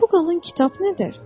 Bu qalın kitab nədir?